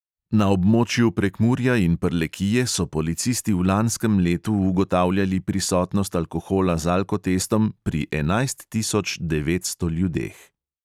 Na območju prekmurja in prlekije so policisti v lanskem letu ugotavljali prisotnost alkohola z alkotestom pri enajst tisoč devetsto ljudeh.